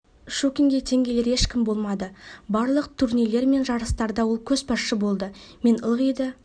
щукинге тең келер ешкім болмады барлық турнирлер мен жарыстарда ол көшбасшы болды мен ылғи да